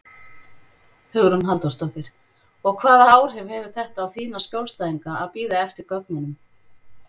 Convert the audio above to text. Hugrún Halldórsdóttir: Og hvaða áhrif hefur þetta á þína skjólstæðinga að bíða eftir gögnunum?